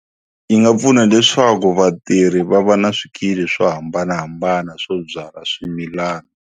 Yi nga pfuna leswaku vatirhi va va na swikili swo hambanahambana swo byala swimilana.